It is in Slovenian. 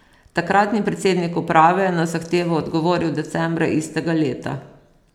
Takratni predsednik uprave je na zahtevo odgovoril decembra istega leta.